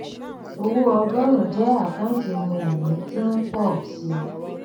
owó ọgórùn jẹ àkántì ohun ìní tí ń pọ ọ síi